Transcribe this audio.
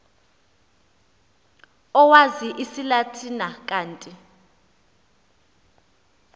owazi isilatina kanti